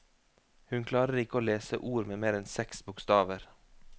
Hun klarer ikke å lese ord med mer enn seks bokstaver.